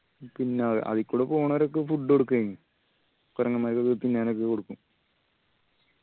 പിന്ന അത് അതിക്കൂടെ പോണോരൊക്കെ food കൊടുക്കും അയിന്. കൊരങ്ങന്മാർക്ക് തിന്നാനൊക്കെ കൊടുക്കും